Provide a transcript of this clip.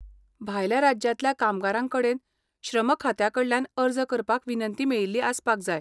भायल्या राज्यांतल्या कामगारांकडेन श्रम खात्याकडल्यान अर्ज करपाक विनंती मेळिल्ली आसपाक जाय.